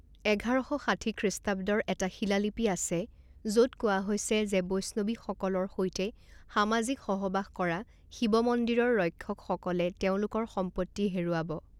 এঘাৰ শ ষাঠি খৃষ্টাব্দৰ এটা শিলালিপি আছে য'ত কোৱা হৈছে যে বৈষ্ণৱীসকলৰ সৈতে সামাজিক সহবাস কৰা শিৱ মন্দিৰৰ ৰক্ষকসকলে তেওঁলোকৰ সম্পত্তি হেৰুৱাব।